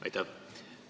Aitäh!